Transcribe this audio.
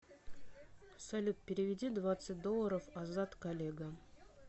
салют переведи двадцать долларов азат коллега